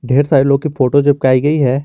ढेर सारे लोग की फोटो चिपकाई गई है।